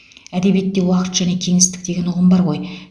әдебиетте уақыт және кеңістік деген ұғым бар ғой